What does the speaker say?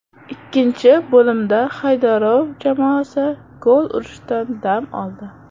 Ikkinchi bo‘limda Haydarov jamoasi gol urishdan dam oldi.